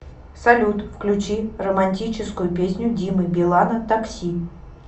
салют включи романтическую песню димы билана такси